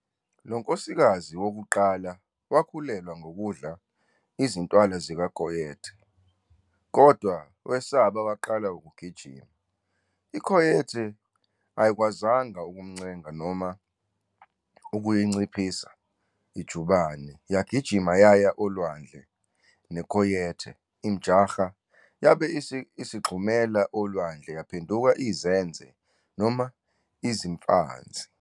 Lo nkosikazi wokuqala wakhulelwa ngokudla izintwala zikaCoyote, kodwa wesaba waqala ukugijima. I-Coyote ayikwazanga ukumncenga noma ukuyinciphisa ijubane, yagijima yaya olwandle neCoyote imjaha yabe isigxumela olwandle yaphenduka izenze noma izimfanzi.